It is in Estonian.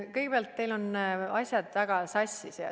Kõigepealt, teil on asjad väga sassis.